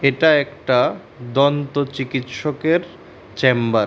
এটা একটা দন্ত চিকিৎসকের চেম্বার ।